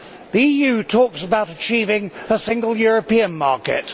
The EU talks about achieving a single European market.